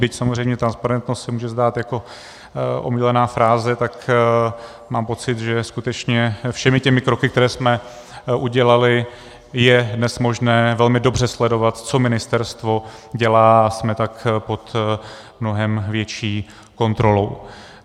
Byť samozřejmě transparentnost se může zdát jako omílaná fráze, tak mám pocit, že skutečně všemi těmi kroky, které jsme udělali, je dnes možné velmi dobře sledovat, co ministerstvo dělá, a jsme tak pod mnohem větší kontrolou.